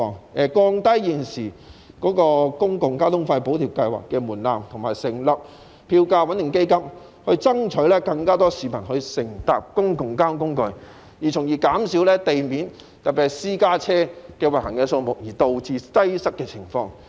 政府應降低現時公共交通費補貼計劃的門檻，以及成立票價穩定基金，以爭取更多市民乘搭公共交通工具，從而減少因地面有過多車輛，特別是過多私家車行走而導致擠塞的情況。